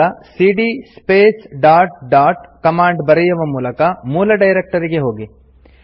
ಈಗ ಸಿಡಿಯ space dot dot command ಬರೆಯುವ ಮೂಲಕ ಮೂಲ ಡೈರೆಕ್ಟರಿಗೆ ಹೋಗಿ